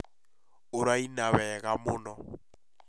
ũraina wega mũno